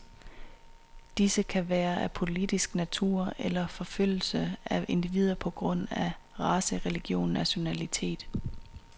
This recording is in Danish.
Disse kan være af politisk natur, eller forfølgelse af individer på grund af race, religion, nationalitet.